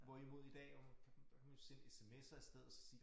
Hvorimod i dag jo der kan man jo sende sms'er i stedet og så sige